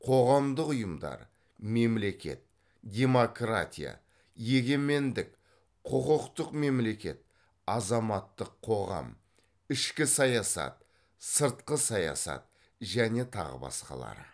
қоғамдық ұйымдар мемлекет демократия егемендік құқықтық мемлекет азаматтық қоғам ішкі саясат сыртқы саясат және тағы басқалары